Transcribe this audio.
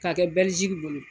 K'a kɛ Bɛliziki bolo